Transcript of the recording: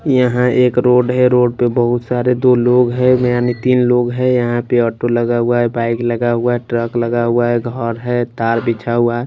यहां एक रोड है रोड पे बहुत सारे दो लोग है में यानी तीन लोग है यहां पे ऑटो लगा हुआ है बाइक लगा हुआ है ट्रक लगा हुआ है घर है तार बिछा हुआ है। --